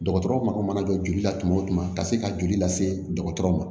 Dɔgɔtɔrɔw mako mana jɔ joli la tuma o tuma ka se ka joli lase dɔgɔtɔrɔ ma